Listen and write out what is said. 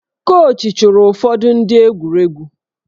Kochị chụrụ ụfọdụ ndị egwuregwu